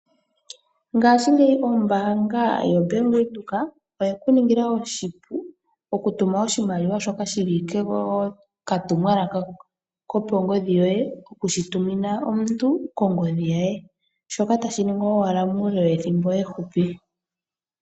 Ngashingeyi ombaanga yobank Windhoek oyeku ningila oshipu okutuma oshimaliwa shoka shili kokatumwalaka kokongodhi yoye okushitumina omuntu kongodhi ye shoka tashi ningwa muule wethimbo efupi.